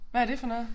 Hvad er det for noget